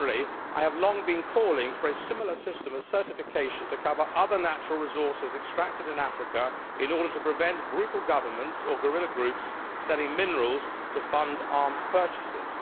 More generally, I have long been calling for a similar system, a certification, to cover other natural resources extracted in Africa in order to prevent brutal governments or guerrilla groups from selling minerals to fund arms purchases.